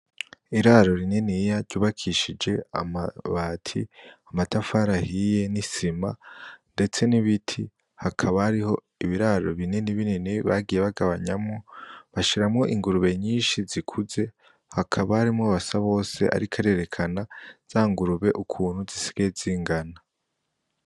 Iraro rininiya ryubakishije amabati , amatafari ahiye n'isima ndetse n'ibiti hakaba hariho ibiraro binini binini bagiye bagabanyamwo bashiramwo ingurube nyinshi zikuze hakaba harimwo Basabose ariko arerekana zangurube ukuntu zisigaye zingana.